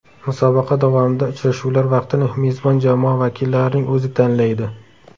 Musobaqa davomida uchrashuvlar vaqtini mezbon jamoa vakillarining o‘zi tanlaydi.